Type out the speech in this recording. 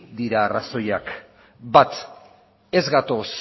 dira arrazoiak bat ez gatoz